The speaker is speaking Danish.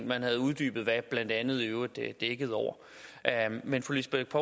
man havde uddybet hvad blandt andet i øvrigt dækkede over men fru lisbeth